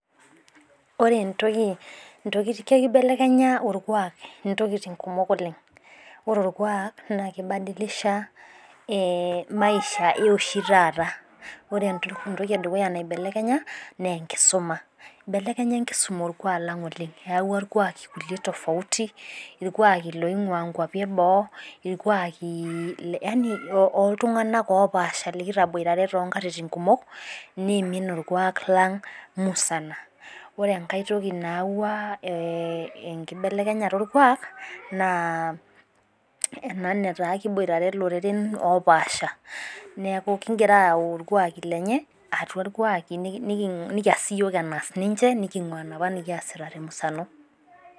Ore ntoyie. kibelekenyaborkuaak intokitin kumok oleng. ore orkuaak naa kibadilisha ee maisha. E oshi taata pee entoki edukuya naibelekenya. naa orkuaak. eibelekenya enkisuma orkuaak oleng. eyawua irkuaaki tofauti irkuaaki loing'ua nkuapi eboo. yani oltunganak opaasha likitaboitarw too nkatitin kumok. neimin, orkuaak lang' musana. ore enkae toki nayawua ee enkibelekenyata orkuaak naa ena netaa ekiboitare iloreren oo paasha. neeku kigira ayau orkuaak lenye atua irkuaaki. nikiyas siiyiook enaas ninche. nikingua olalang te musano